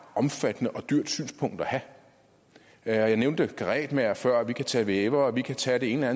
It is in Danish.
omfattende og dyrt synspunkt at have jeg nævnte karetmagere før og vi kan tage vævere vi kan tage det ene